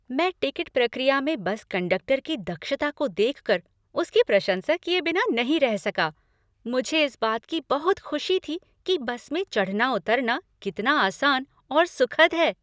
मैं टिकट प्रक्रिया में बस कंडक्टर की दक्षता को देख कर उसकी प्रशंसा किए बिना नहीं रह सका। मुझे इस बात की बहुत खुशी थी कि बस में चढ़ना उतरना कितना आसान और सुखद है।